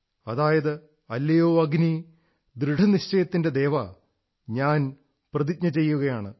അതായത് അല്ലയോ അഗ്നീ ദൃഢനിശ്ചയത്തിന്റെ ദേവാ ഞാൻ പ്രതിജ്ഞ ചെയ്യുകയാണ്